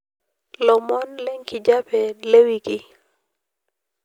lomon le nkijape le wiki